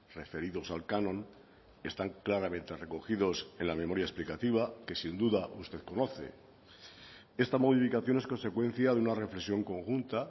referidos al canon están claramente recogidos en la memoria explicativa que sin duda usted conoce esta modificación es consecuencia de una reflexión conjunta